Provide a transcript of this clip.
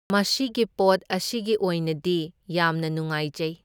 ꯃꯁꯤꯒꯤ ꯄꯣꯠ ꯑꯁꯤꯒꯤ ꯑꯣꯏꯅꯗꯤ ꯌꯥꯝꯅ ꯅꯨꯉꯥꯏꯖꯩ꯫